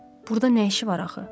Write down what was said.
Burda nə işi var axı?